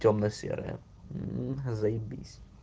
тёмно-серая м заебись